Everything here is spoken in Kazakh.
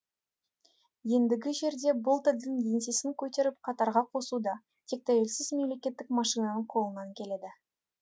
ендігі жерде бұл тілдің еңсесін көтеріп қатарға қосу да тек тәуелсіз мемлекеттік машинаның қолынан келеді